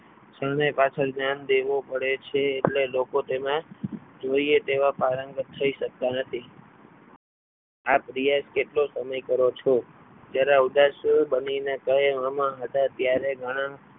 શરણાઈ પાછળ ધ્યાન દેવું પડે છે એટલે લોકો તેને જોઈએ એવા પારંગત થઈ શકતા નથી આપ પ્રયાસ કેટલો સમય કરો છો જ્યારે આવતા સુર બંધ કરીને કહેવામાં હતા ત્યારે